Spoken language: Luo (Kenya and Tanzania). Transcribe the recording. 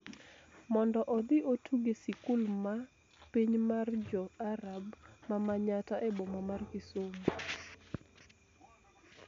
mondo odhi otug e sikul ma piny mar Jo-Arab ma Manyatta e boma mar Kisumu.